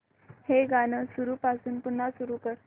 हे गाणं सुरूपासून पुन्हा सुरू कर